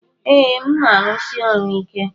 Ee, m na-arụsi ọrụ ike.